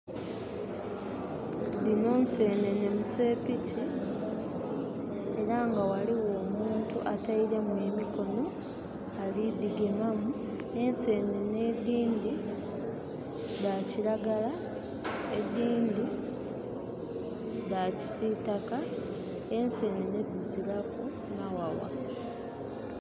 Dhino nsenene mu seepiki era nga waliwo omuntu atairemu emikono ali dhigemamu. Ensenene edindi dha kiragala edindi dha kisitaka. Ensenene diziraku mawawa